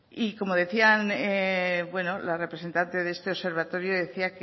como decía la representante de este observatorio decía